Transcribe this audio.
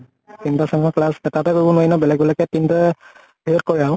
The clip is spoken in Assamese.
তিন টা sem ৰ class এটাতে কৰিব নোৱাৰি ন, বেলেগ বেলেগ কে তিন টা হেয়ত কৰে আৰু।